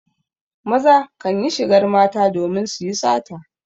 Maza kan yi shigar mata domin su yi sata.